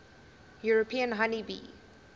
european honey bee